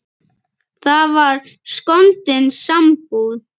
Það var skondin sambúð.